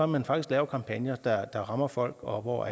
man faktisk laver kampagner der rammer folk og hvor